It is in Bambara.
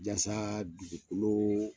Jasa dugukolo